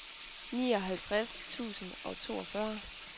nioghalvtreds tusind og toogfyrre